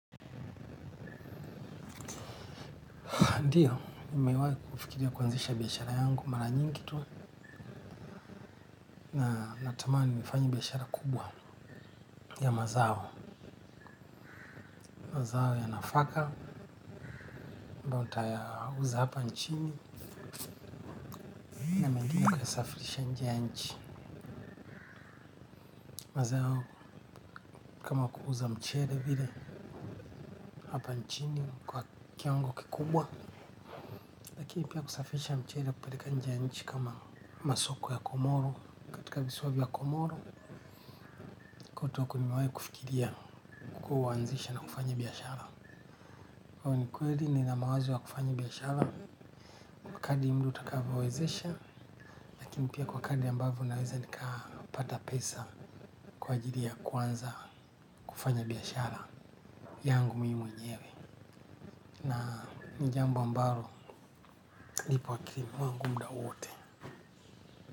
A ndio, nimewai kufikiria kuanzisha biashara yangu mara nyingi tu. Na natamani, nifanye biashara kubwa ya mazao. Mazao ya nafaka, ambayo nitayauza hapa nchini, na mengine nikaya safirisha nje ya nchi. Mazao kama kuuza mchele vile hapa nchini kwa kiwango kikubwa. Lakini pia kusafirisha mchele, kupeleka nje ya nchi kama masoko ya komoro. Katika visiwa vya komoro, huko ndio nimewai kufikiria kuanzisha na kufanya biashara. Kwani kweli ni na mawazo ya kufanya biashara, kadli muda utakavyowezesha. Lakini pia kwa kadli ambavyo naweza nikapata pesa kwa ajiri ya kuanza kufanya biashara yangu mimi mwenyewe na ni jambo ambalo lipo akilini mwangu muda huu wote.